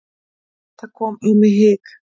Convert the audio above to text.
Það kom á mig hik.